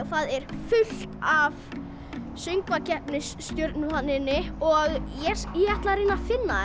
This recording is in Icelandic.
það er fullt af Söngvakeppni stjörnum þarna inni og ég ætla að reyna að finna